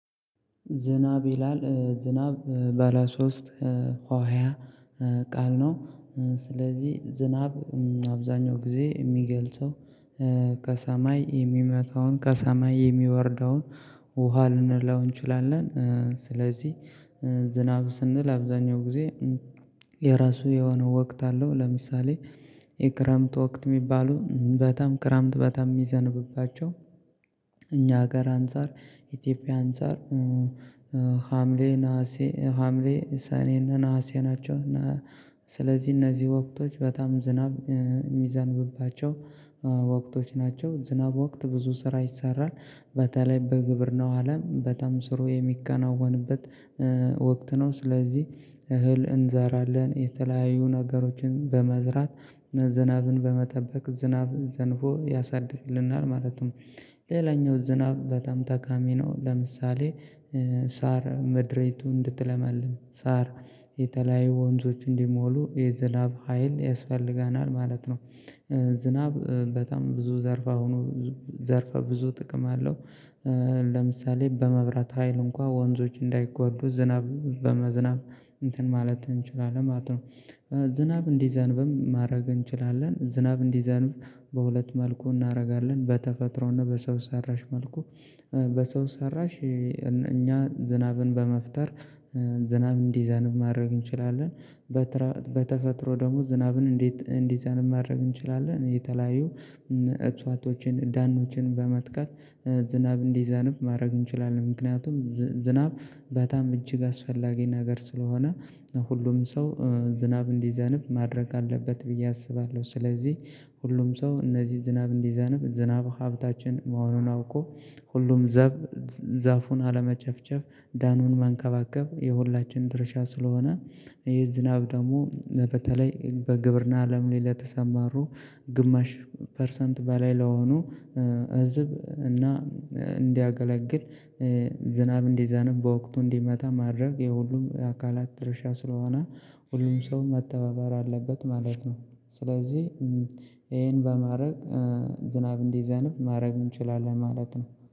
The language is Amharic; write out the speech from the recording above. ዝናብ ይላል ዝናብ ባለ ሶስት ሆህያ ቃል ነው። ስለዚህ ዝናብ አብዛኛው ጊዜ የሚገልጸው ከሰማይ የሚመጣውን ከሰማይ የሚወርደውን ውሃ ልንለው እንችላለን። ስለዚህ ዝናብ ስንል አብዛኛው ጊዜ የራሱ የሆነ ወቅት አለው። ለምሳሌ የክረምት ወቅት የሚባሉ በጣም ክረምት በጣም የሚዘንብባቸው እኛ ሀገር አንፃር ኢትዮጵያ አንፃር ሀምሌ ነሀሴ ሀምሌ ሰኔን ነሀሴ ናቸው። እና ስለዚህ እነዚህ ወቅቶች በጣም ዝናብ የሚዘንብባቸው ወቅቶች ናቸው። ዝናብ ወቅት ብዙ ስራ ይሰራል በተለይ በግብርናው አለም በጣም ስሩ የሚከናወንበት ወቅት ነው። ስለዚህ እህል እንዛራለን የተለያየ ነገሮችን በመዝራት ዝናብን በመጠበቅ ዝናብ ዘንቦ ያሳድግልናል ማለትም ሌላኛው ዝናብ በጣም ጠቃሚ ነው። ለምሳሌ ሳር ምድሪቱን እንድትለመልም ሳር የተለያዩ ወንዞች እንዲሞሉ የዝናብ ሀይል ያስፈልገናል ማለት ነው። ዝናብ በጣም ብዙ ዘርፈ ሆኖ ዘርፈ ብዙ ጥቅም አለው። ለምሳሌ በመብራት ሀይል እንኳን ወንዞች እንዳይጎዱ ዝናብ በመዝናብ እንትን ማለት እንችላለን ማለት ነው። ዝናብ እንዲዘንብም ማድረግ እንችላለን ዝናብ እንዲዘንብ በሁለት መልኩ እናደርጋለን በተፈጥሮና በሰው ሰራሽ መልኩ በሰው ሰራሽ እኛ ዝናብን በመፍጠር ዝናብ እንዲዘንብ ማድረግ እንችላለን። በተፈጥሮ ደግሞ ዝናብን እንዴት እንዲዘንብ ማድረግ እንችላለን የተለያዩ እሳቶችን ዳኖችን በመትከል ዝናብ እንዲዘንብ ማድረግ እንችላለን። ምክንያቱም ዝናብ በጣም እጅግ አስፈላጊ ነገር ስለሆነ ሁሉም ሰው ዝናብ እንዲዘንብ ማድረግ አለበት ብዬ አስባለሁ። ስለዚህ ሁሉም ሰው እነዚህ ዝናብ እንዲዘንብ ዝናብ ሀብታችን መሆኑን አውቆ ሁሉም ዛፉን አለመጨፍጨፍ ደኑን መንከባከብ የሁላችን ድርሻ ስለሆነ ይሄ ዝናብ ደግሞ በተለይ በግብርና አለም ላይ ለተሰማሩ ግማሽ ፐርሰንት በላይ ለሆኑ ህዝብ እና እንዲያገለግል ዝናብ እንዲዘነብ በወቅቱ እንዲመጣ ማድረግ የሁሉም አካላት ድርሻ ስለሆነ ሁሉም ሰው መተባበር አለበት ማለት ነው። ስለዚህ ይሄን በማድረግ ዝናብ እንደዚንብ ማድረግ እንችላለን ማለት ነው።